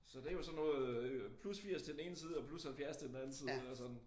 Så det jo sådan noget øh plus 80 til den ene side og plus 70 til den anden side og sådan